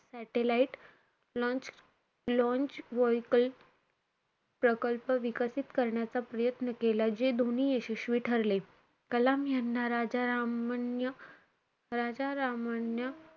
Satellite launch vehicle प्रकल्प विकसित करण्याचा प्रयत्न केला. जे दोन्ही यशस्वी ठरले. कलाम यांना राजा रामन्य~ राजा रामन्य,